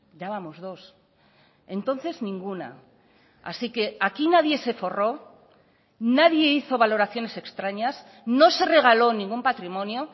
ya vamos dos entonces ninguna así que aquí nadie se forró nadie hizo valoraciones extrañas no se regaló ningún patrimonio